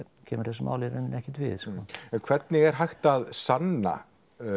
kemur þessu máli í rauninni ekkert við sko en hvernig er hægt að sanna